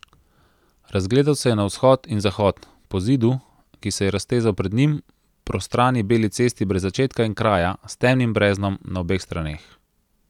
Razgledal se je na vzhod in zahod, po Zidu, ki se je raztezal pred njim, prostrani beli cesti brez začetka in kraja in s temnim breznom na obeh straneh.